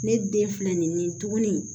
Ne den filɛ nin ye nin tuguni